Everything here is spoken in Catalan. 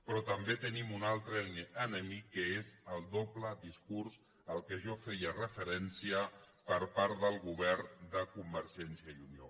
però també tenim un altre enemic que és el doble discurs al qual jo feia referència per part del govern de convergència i unió